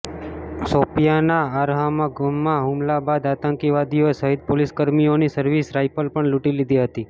શોપિયાંના અરહામા ગામમાં હુમલા બાદ આતંકવાદીઓએ શહીદ પોલીસકર્મીઓની સર્વિસ રાઈફલ પણ લૂંટી લીધી હતી